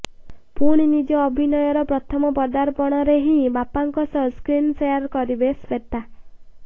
ପୁଣି ନିଜ ଅଭିନୟର ପ୍ରଥମ ପଦାର୍ପଣରେ ହିଁ ବାପାଙ୍କ ସହ ସ୍କ୍ରିନ୍ ସେୟାର କରିବେ ଶ୍ୱେତା